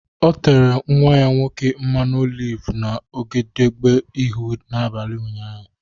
O tere nnwa ya nwoke mmanụ oliv n’egedege ihu n’abalị ụnyaahụ.